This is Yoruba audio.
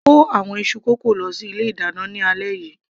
kó àwọn iṣu kókò lọ sí ilé ìdáná ní alẹ́ yìí